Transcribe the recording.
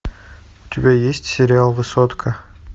у тебя есть сериал высотка